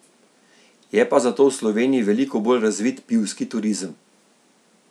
Je pa zato v Sloveniji veliko bolj razvit pivski turizem.